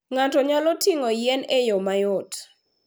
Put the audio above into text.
Ng'ato nyalo ting'o yien e yo mayot.